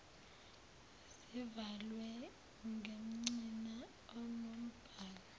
zivalwe ngengcina enombhalo